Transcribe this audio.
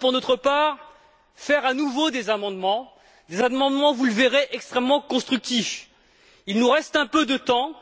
Pour notre part, nous allons à nouveau déposer des amendements qui, vous le verrez, seront extrêmement constructifs. Il nous reste un peu de temps